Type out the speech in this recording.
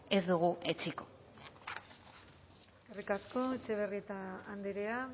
ez dugu etsiko eskerrik asko etxebarrieta andrea